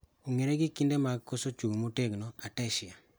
Ong'ere gi kinde mag koso chung' motegno(ataxia)